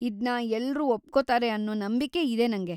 ಇದ್ನ ಎಲ್ರೂ ಒಪ್ಕೋತಾರೆ ಅನ್ನೋ ನಂಬಿಕೆ ಇದೆ ನಂಗೆ.